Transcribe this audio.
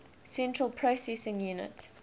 central processing unit